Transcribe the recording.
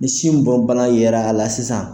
Ni sin bon bana yera la sisan